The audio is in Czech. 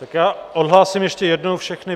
Tak já odhlásím ještě jednou všechny.